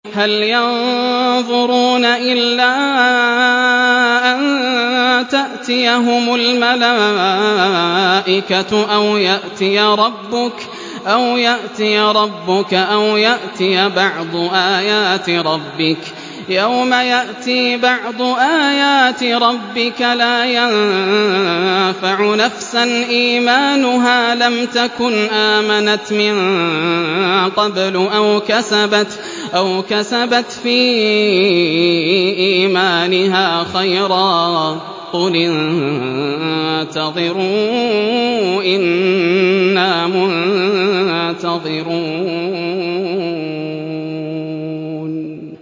هَلْ يَنظُرُونَ إِلَّا أَن تَأْتِيَهُمُ الْمَلَائِكَةُ أَوْ يَأْتِيَ رَبُّكَ أَوْ يَأْتِيَ بَعْضُ آيَاتِ رَبِّكَ ۗ يَوْمَ يَأْتِي بَعْضُ آيَاتِ رَبِّكَ لَا يَنفَعُ نَفْسًا إِيمَانُهَا لَمْ تَكُنْ آمَنَتْ مِن قَبْلُ أَوْ كَسَبَتْ فِي إِيمَانِهَا خَيْرًا ۗ قُلِ انتَظِرُوا إِنَّا مُنتَظِرُونَ